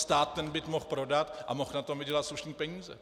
Stát ten byt mohl prodat a mohl na tom vydělat slušné peníze.